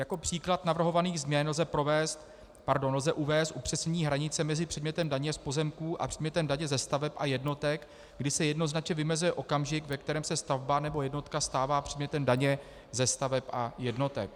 Jako příklad navrhovaných změn lze uvést upřesnění hranice mezi předmětem daně z pozemků a předmětem daně ze staveb a jednotek, kdy se jednoznačně vymezuje okamžik, ve kterém se stavba nebo jednotka stává předmětem daně ze staveb a jednotek.